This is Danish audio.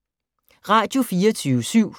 Radio24syv